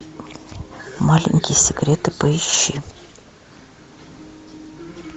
маленькие секреты поищи